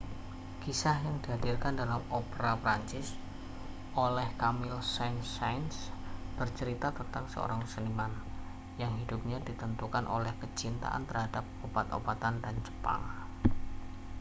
kisah yang dihadirkan dalam opera prancis oleh camille saint-saens bercerita tentang seorang seniman yang hidupnya ditentukan oleh kecintaan terhadap obat-obatan dan jepang